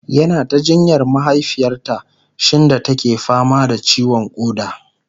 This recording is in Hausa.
yana ta jinyar mahaifiyarta shinda take fama da ciwon koda